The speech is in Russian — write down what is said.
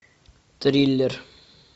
триллер